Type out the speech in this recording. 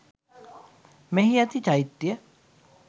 මෙහි ඇති චෛත්‍යය